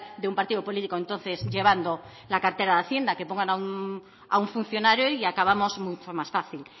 de un partido político entonces llevando la cartera de hacienda que pongan a un funcionario y acabamos mucho más fácil